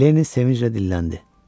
Lenni sevinclə dilləndi.